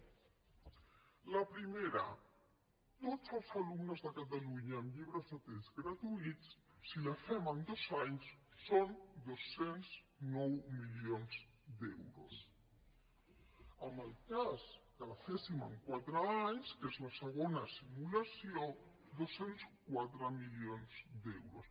la primera tots els alumnes de catalunya amb llibres de text gratuïts si ho fem en dos anys són dos cents i nou milions d’euros en el cas que ho féssim en quatre anys que és la segona simulació dos cents i quatre milions d’euros